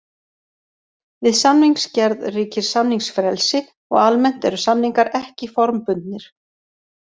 Við samningsgerð ríkir samningsfrelsi og almennt eru samningar ekki formbundnir.